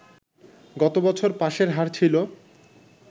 গত বছর পাসের হার ছিল